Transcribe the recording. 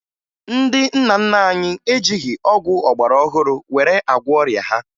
Ndị nna nna anyị ejighi ọgwụ ọgbarọhụrụ were agwọ ọrịa ha